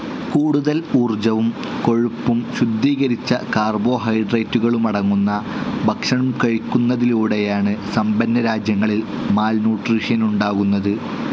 കൂടുതൽ ഊർജ്ജവും കൊഴുപ്പും ശുദ്ധീകരിച്ച കാർബോഹൈഡ്രേറ്റുകളുമടങ്ങുന്ന ഭക്ഷണം കഴിക്കുന്നതിലൂടെയാണ് സമ്പന്നരാജ്യങ്ങളിൽ മാൽന്യൂട്രീഷനുണ്ടാകുന്നത്.